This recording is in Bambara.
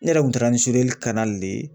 Ne yɛrɛ kun taara ni le ye